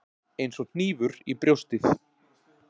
Eins og hnífur í brjóstið.